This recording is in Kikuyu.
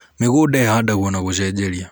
mĩgũnda ihandagwo na gucenjeria